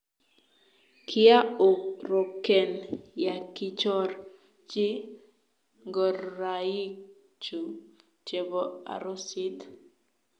kiaoroken ya kichor chi ngoraikchu chebo arusit.